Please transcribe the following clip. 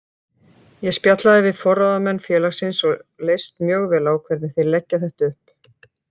Ég spjallaði við forráðamenn félagsins og leist mjög vel á hvernig þeir leggja þetta upp.